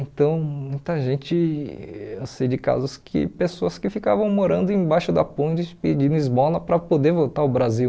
Então, muita gente, eu sei de casos que pessoas que ficavam morando embaixo da ponte pedindo esmola para poder voltar ao Brasil.